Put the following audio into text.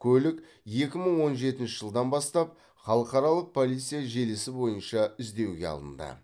көлік екі мың он жетінші жылдан бастап халықаралық полиция желісі бойынша іздеуге алынды